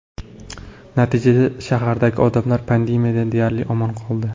Natijada, shahardagi odamlar pandemiyadan deyarli omon qoldi.